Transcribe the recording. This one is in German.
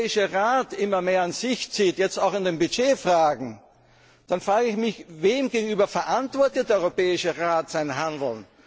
Tendenzen sehen. Wenn der Europäische Rat immer mehr an sich zieht jetzt auch in den Budgetfragen dann frage ich mich Wem gegenüber verantwortet der